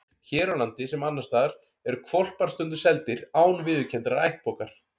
Hér á landi, sem annars staðar, eru hvolpar stundum seldir án viðurkenndrar ættbókar.